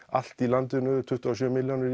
allt í landinu tuttugu og sjö milljónir